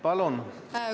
Palun!